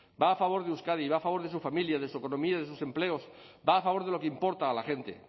va a favor de euskadi y va a favor de sus familias de su economía de sus empleos va a favor de lo que importa a la gente